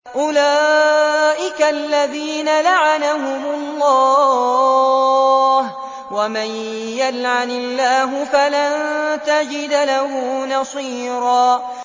أُولَٰئِكَ الَّذِينَ لَعَنَهُمُ اللَّهُ ۖ وَمَن يَلْعَنِ اللَّهُ فَلَن تَجِدَ لَهُ نَصِيرًا